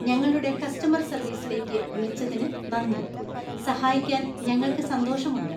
ഞങ്ങളുടെ കസ്റ്റമർ സർവീസിലേക്ക് വിളിച്ചതിന് നന്ദി. സഹായിക്കാൻ ഞങ്ങൾക്ക് സന്തോഷമുണ്ട്.